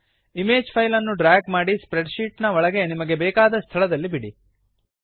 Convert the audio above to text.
image file ಅನ್ನು drag ಮಾಡಿ spreadsheet ಒಳಗೆ ನಿಮಗೆ ಬೇಕಾದ ಸ್ಥಳದಲ್ಲಿ ಬಿಡಿ